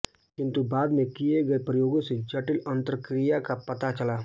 किन्तु बाद में किये गये प्रयोगों से जटिल अन्तरक्रिया का पता चला